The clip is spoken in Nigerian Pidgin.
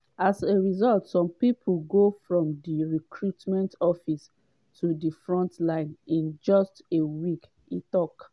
as a result some pipo go from di recruitment office to di front line in just a week” e tok.